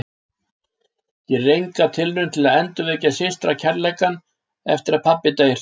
Gerir enga tilraun til að endurvekja systra- kærleikann eftir að pabbi deyr.